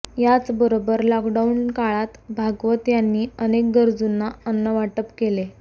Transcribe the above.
याचबरोबर लॉकडाऊन काळात भागवत यांनी अनेक गरजूंना अन्न वाटप केले